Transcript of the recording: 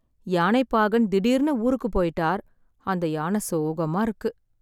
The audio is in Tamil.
யானை பாகன் திடீர்னு ஊருக்குபோய்ட்டார். அந்த யான சோகமா இருக்கு.